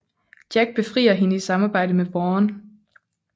Jack befrier hende i samarbejde med Vaughn